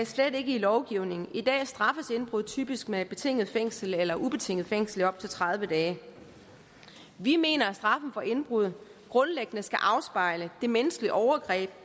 slet ikke i lovgivningen i dag straffes indbrud typisk med betinget fængsel eller ubetinget fængsel i op til tredive dage vi mener at straffen for indbrud grundlæggende skal afspejle det menneskelige overgreb